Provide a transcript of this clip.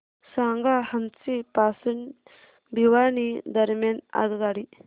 सांगा हान्सी पासून भिवानी दरम्यान आगगाडी